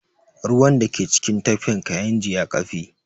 Ruwan da ke cikin tafkin kayinji ya ƙafe